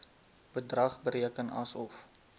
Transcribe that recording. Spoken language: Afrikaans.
bedrag bereken asof